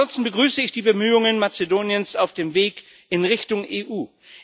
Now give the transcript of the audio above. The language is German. Ansonsten begrüße ich die Bemühungen Mazedoniens auf dem Weg in Richtung EU.